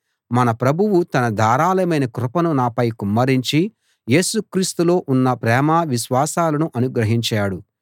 మన ప్రభువు తన ధారాళమైన కృపను నాపై కుమ్మరించి యేసుక్రీస్తులో ఉన్న ప్రేమ విశ్వాసాలను అనుగ్రహించాడు